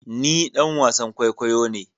Ni ɗan wasan kwaikwayo ne